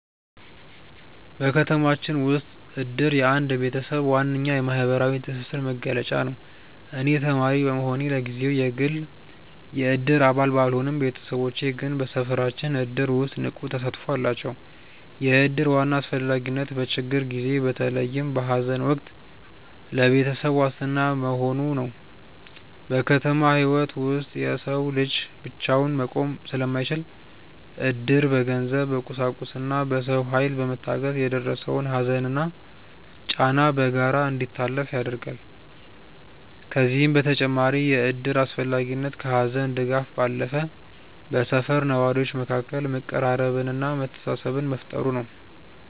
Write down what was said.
ከተማችን ውስጥ እድር የአንድ ቤተሰብ ዋነኛ የማህበራዊ ትስስር መገለጫ ነው። እኔ ተማሪ በመሆኔ ለጊዜው የግል የእድር አባል ባልሆንም፣ ቤተሰቦቼ ግን በሰፈራችን እድር ውስጥ ንቁ ተሳትፎ አላቸው። የእድር ዋና አስፈላጊነት በችግር ጊዜ፣ በተለይም በሐዘን ወቅት ለቤተሰብ ዋስትና መሆኑ ነው። በከተማ ህይወት ውስጥ የሰው ልጅ ብቻውን መቆም ስለማይችል፣ እድር በገንዘብ፣ በቁሳቁስና በሰው ኃይል በመታገዝ የደረሰውን ሐዘንና ጫና በጋራ እንዲታለፍ ያደርጋል። ከዚህም በተጨማሪ የእድር አስፈላጊነት ከሐዘን ድጋፍ ባለፈ በሰፈር ነዋሪዎች መካከል መቀራረብንና መተሳሰብን መፍጠሩ ነው።